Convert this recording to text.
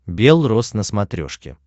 бел роз на смотрешке